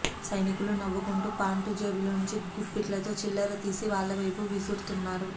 సైనికులు నవ్వుకుంటూ పాంటు జేబులోంచి గుప్పిట్లతో చిల్లర తీసి వాళ్ల వైపు విసురుతున్నారు